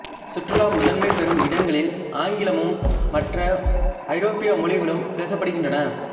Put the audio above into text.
சுற்றுலா முதன்மை பெறும் இடங்களில் ஆங்கிலமும் மற்ற ஐரோப்பிய மொழிகளும் பேசப்படுகின்றன